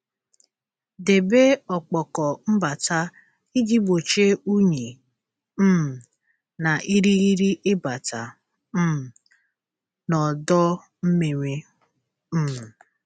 Debe ọkpọkọ mbata iji gbochie unyi um na irighiri ịbata um n'ọdọ mmiri. um